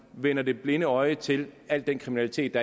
vender det blinde øje til al den kriminalitet